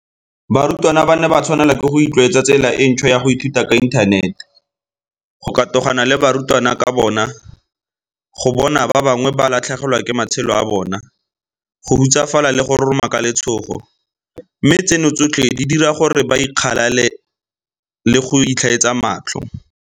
Barutwana ba ne ba tshwanelwa ke go itlwaetsa tsela e ntšhwa ya go ithuta ka inthanete, go katogana le barutwana ka bona, go bona ba bangwe ba latlhegelwa ke matshelo a bona, go hutsafala le go roroma ka letshogo, mme tseno tsotlhe di dira gore ba ikgalale le go itlhaetsa matlho.